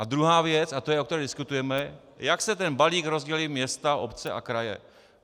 A druhá věc, a to je, o které diskutujeme, jak si ten balík rozdělí města, obce a kraje.